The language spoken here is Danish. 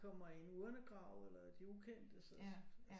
De kommer i en urnegrav eller i de ukendtes